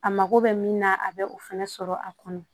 A mako bɛ min na a bɛ o fɛnɛ sɔrɔ a kɔnɔ